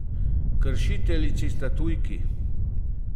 Kršiteljici sta tujki.